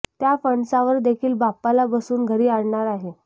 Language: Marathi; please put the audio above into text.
त्या फणसावर देखील बाप्पाला बसवून घरी आणणार आहे